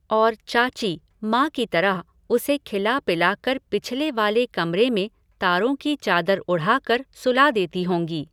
और चाची, माँ की तरह, उसे खिलापिला कर पिछले वाले कमरे में तारों की चादर उढ़ा कर सुला देती होंगी।